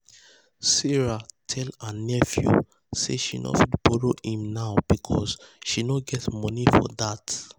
sarah tell her nephew say she no fit borrow him now because she no get money for that.